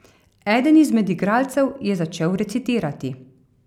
Eden izmed igralcev je začel recitirati.